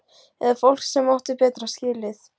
Eða fólk sem átti betra skilið?